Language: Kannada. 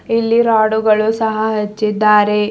ಇಲ್ಲಿ ರಾಡು ಗಳು ಸಹಾ ಹಚ್ಚಿದ್ದಾರೆ.